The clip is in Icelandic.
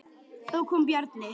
Þá kom Bjarni.